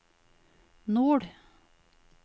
nord